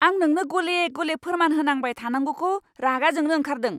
आं नोंनो गले गले फोरमान होनांबाय थानांगौखौ रागा जोंनो ओंखारदों।